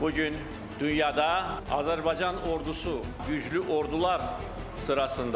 Bu gün dünyada Azərbaycan ordusu güclü ordular sırasındadır.